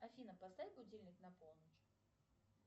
афина поставь будильник на полночь